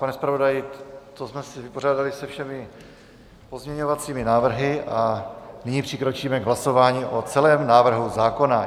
Pane zpravodaji, tím jsme se vypořádali se všemi pozměňovacími návrhy a nyní přikročíme k hlasování o celém návrhu zákona.